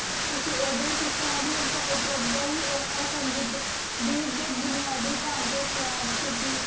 T ਉਦਯ ਵੇਚ ਸ਼ਾਨ ਥੇ ਟੀ ਉਦਯ ਉਪਰ ਘਿਟ ਡੀ ਬੁਨਾਦੀ ਧੰਚ੍ਯ ਖਰਾਬ ਕੀਤੀ